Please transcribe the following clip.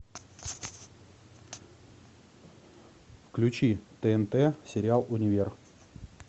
включи тнт сериал универ